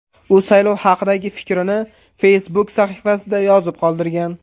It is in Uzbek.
U saylov haqidagi fikrini Facebook sahifasida yozib qoldirgan .